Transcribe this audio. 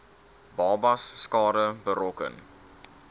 babas skade berokken